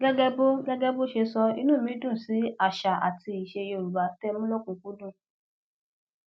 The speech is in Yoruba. gẹgẹ bó gẹgẹ bó ṣe sọ inú mi dùn sí àṣà àti ìṣe yorùbá tẹ ẹ mú lòkunùnkú dùn